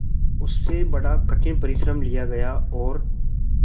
उससे बड़ा कठिन परिश्रम लिया गया और